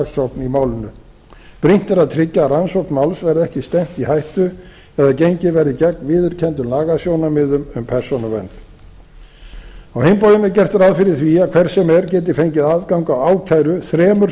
í málinu brýnt er að tryggja að rannsókn máls verði ekki stefnt í hættu eða gengið verði gegn viðurkenndum lagasjónarmiðum um persónuvernd á hinn bóginn er gert ráð fyrir því að hver sem er geti fengið aðgang að ákæru þremur